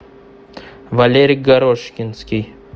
валерий горошкинский